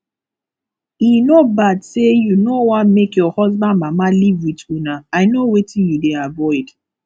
e no bad say you no wan make your husband mama live with una i know wetin you dey avoid